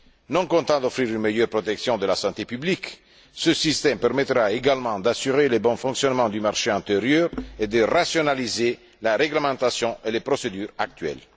Non seulement il offrira une meilleure protection de la santé publique, mais ce système permettra également d'assurer le bon fonctionnement du marché intérieur et de rationaliser la réglementation et les procédures actuelles.